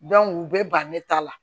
u bɛ ban ne ta la